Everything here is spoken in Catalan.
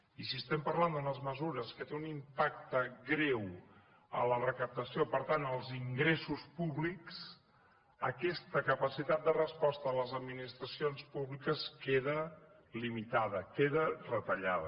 i si estem parlant d’unes mesures que tenen un impacte greu a la recaptació per tant als ingressos públics aquesta capacitat de resposta de les administracions públiques queda limitada queda retallada